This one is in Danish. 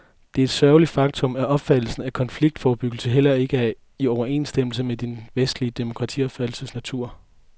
Det er et sørgeligt faktum, at opfattelsen af konfliktforebyggelse heller ikke er i overensstemmelse med den vestlige demokratiopfattelses natur.